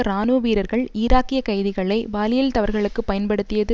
இராணுவ வீரர்கள் ஈராக்கிய கைதிகளை பாலியல் தவறுகளுக்குப் பயன்படுத்தியது